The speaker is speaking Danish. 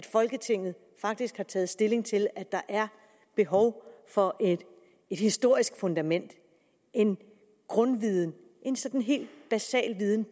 folketinget i faktisk at tage stilling til om der er behov for et historisk fundament en grundviden en sådan hel basal viden